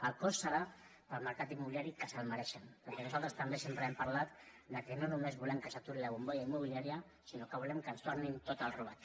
el cost serà per al mercat immobiliari que se’l mereixen perquè nosaltres també sempre hem parlat que no només volem que s’aturi la bombolla immobiliària sinó que volem que ens tornin tot el robat